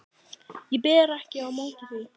Ég ber ekki á móti því.